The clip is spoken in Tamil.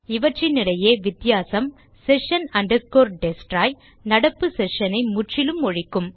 இவற்றினிடையே வித்தியாசம் sessions destroy நடப்பு செ ஷனை முற்றிலும் ஒழிக்கும்